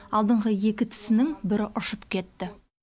алдыңғы екі тісінің бірі ұшып кетті